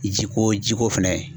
Jiko jiko fɛnɛ.